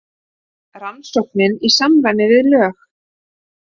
Rannsóknin í samræmi við lög